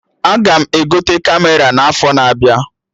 Aga m egote Kamera n'afọ na-abịa